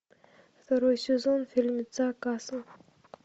второй сезон фильмеца касл